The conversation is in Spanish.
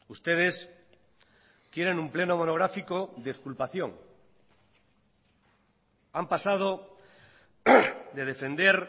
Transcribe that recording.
ustedes quieren un pleno monográfico de exculpación han pasado de defender